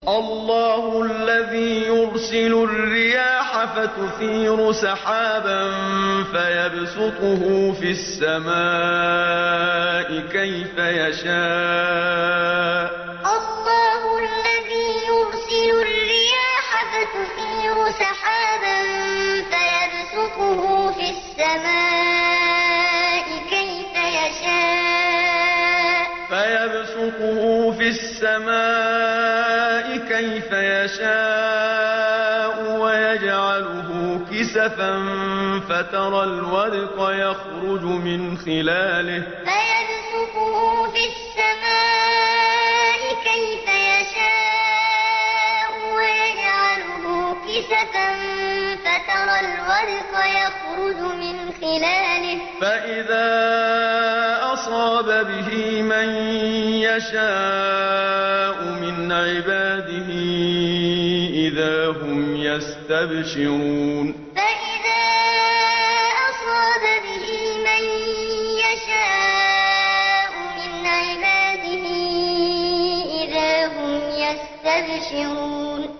اللَّهُ الَّذِي يُرْسِلُ الرِّيَاحَ فَتُثِيرُ سَحَابًا فَيَبْسُطُهُ فِي السَّمَاءِ كَيْفَ يَشَاءُ وَيَجْعَلُهُ كِسَفًا فَتَرَى الْوَدْقَ يَخْرُجُ مِنْ خِلَالِهِ ۖ فَإِذَا أَصَابَ بِهِ مَن يَشَاءُ مِنْ عِبَادِهِ إِذَا هُمْ يَسْتَبْشِرُونَ اللَّهُ الَّذِي يُرْسِلُ الرِّيَاحَ فَتُثِيرُ سَحَابًا فَيَبْسُطُهُ فِي السَّمَاءِ كَيْفَ يَشَاءُ وَيَجْعَلُهُ كِسَفًا فَتَرَى الْوَدْقَ يَخْرُجُ مِنْ خِلَالِهِ ۖ فَإِذَا أَصَابَ بِهِ مَن يَشَاءُ مِنْ عِبَادِهِ إِذَا هُمْ يَسْتَبْشِرُونَ